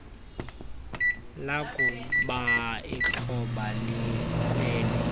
lakuba ixhoba likweli